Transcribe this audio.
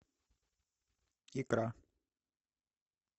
икра